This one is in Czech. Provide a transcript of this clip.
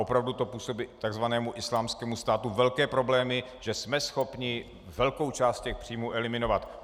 Opravdu to působí takzvanému Islámskému státu velké problémy, že jsme schopni velkou část těch příjmů eliminovat.